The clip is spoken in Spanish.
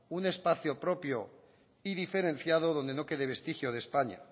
un espacio propio y diferenciado donde no quede vestigio de españa